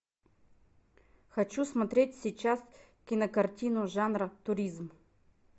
хочу смотреть сейчас кинокартину жанра туризм